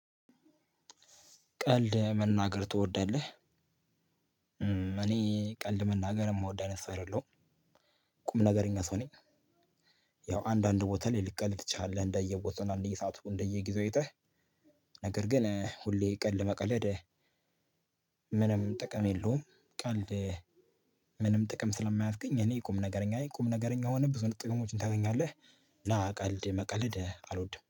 ቀልድ መናገር ትወዳለህ እኔ ቀልድ መናገር የምወድ አይነት ሰው አይደለሁም። ቁም ነገረኛ ሰው ነኝ ያው አንዳንድ ቦታ ላይ ልትቀልድ ትችላለህ። እንደየቦታው እንደየሰአቱ እንደየጊዜው አይተህ ነገር ግን ሁሌ ቀልድ መቀለድ ምንም ጥቅም የለውም። ቀልድ ምንም ጥቅም ስለማያስገኝ እኔ ቁምነገረኛ ነኝ። ቁም ነገረኛ ሆነህ ብዙ አይነት ጥቅሞችን ታገኛለህ። እና ቀልድ መቀለድ አልወድም።